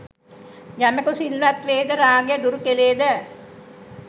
යමකු සිල්වත් වේද, රාගය දුරු කළේද